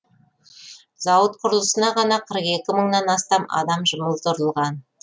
зауыт құрылысына ғана қырық екі мыңнан астам адам жұмылдырылған